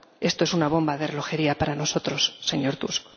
Esto es una bomba de relojería para nosotros, señor Tusk.